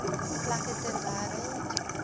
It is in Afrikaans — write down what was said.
plekke ter wêreld